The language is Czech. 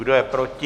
Kdo je proti?